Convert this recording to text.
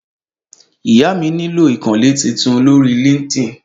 Ìyá mi nílò ìkànnlé titun lórí líńkdín